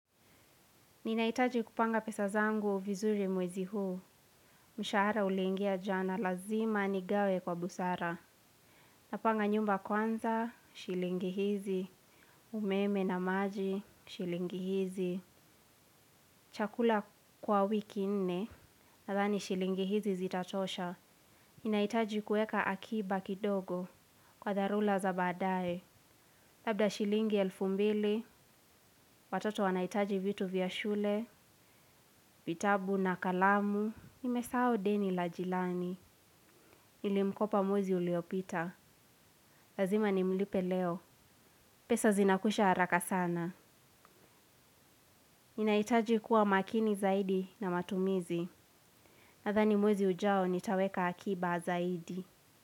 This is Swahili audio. Ninahitaji kupanga pesa zangu vizuri mwezi huu. Mshahara uliingia jana lazima nigawe kwa busara. Napanga nyumba kwanza, shilingi hizi. Umeme na maji, shilingi hizi. Chakula kwa wiki nne. Nadhani shilingi hizi zitatosha. Ninahitaji kuweka akiba kidogo. Kwa dharura za baadaye. Labda shilingi elfu mbili. Watoto wanahitaji vitu vya shule. Vitabu na kalamu. Nimesahau deni la jirani. Nilimkopa mwezi uliopita. Lazima nimlipe leo. Pesa zinakwisha haraka sana ninahitaji kuwa makini zaidi na matumizi. Nadhani mwezi ujao nitaweka akiba zaidi.